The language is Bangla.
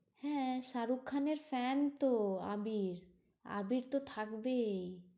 হ্যাঁ শাহরুখ খানের fan তো আবির। আবির তো থাকবেই।